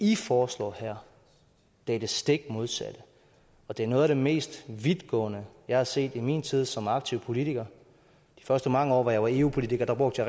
i foreslår her er det stik modsatte og det er noget af det mest vidtgående jeg har set i min tid som aktiv politiker de første mange år hvor jeg var eu politiker brugte